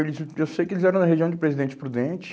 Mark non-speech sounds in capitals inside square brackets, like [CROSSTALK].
[UNINTELLIGIBLE] Eu sei que eles eram da região de Presidente Prudente.